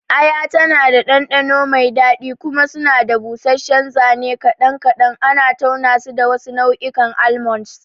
Aya tana da ɗanɗano mai daɗi, kuma suna da busasshen zane kaɗan kaɗan, ana taunasu da wasu nau'ikan almonds.